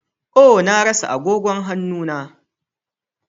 Oh! Na rasa agogon hannu na.